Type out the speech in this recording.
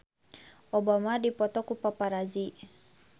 Obama dipoto ku paparazi